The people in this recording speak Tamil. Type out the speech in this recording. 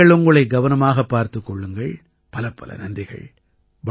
நீங்கள் உங்களை கவனமாகப் பார்த்துக் கொள்ளுங்கள் பலப்பல நன்றிகள்